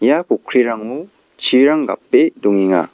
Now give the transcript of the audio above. ia pokkrirango chirang gape dongenga.